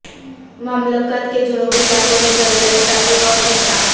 مملکت کے جنوبی علاقوں میں زلزلے کا ایک اور جھٹکا